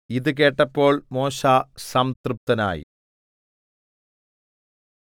ഇതു കേട്ടപ്പോൾ മോശെ സംതൃപ്തനായി